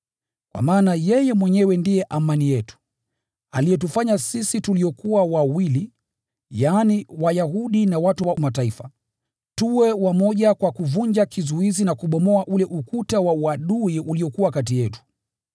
Kwa maana yeye mwenyewe ndiye amani yetu, aliyetufanya sisi tuliokuwa wawili, yaani, Wayahudi na watu wa Mataifa, tuwe wamoja kwa kuvunja kizuizi na kubomoa ule ukuta wa uadui uliokuwa kati yetu,